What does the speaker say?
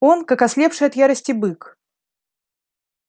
он как ослепший от ярости бык